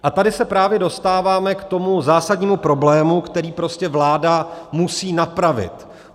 A tady se právě dostáváme k tomu zásadnímu problému, který prostě vláda musí napravit.